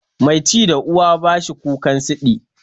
Mai ci da uwa ba shi kukan siɗi.